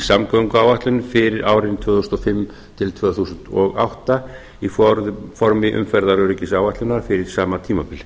samgönguáætlun fyrir árin tvö þúsund og fimm til tvö þúsund og átta í formi umferðaröryggisáætlunar fyrir sama tímabil